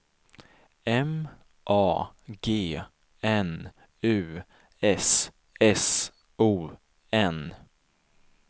M A G N U S S O N